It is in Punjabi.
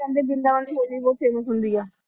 ਕਹਿੰਦੇ ਬਰਿੰਦਾਬਨ ਦੀ ਹੋਲੀ ਬਹੁਤ famous ਹੁੰਦੀ ਆ।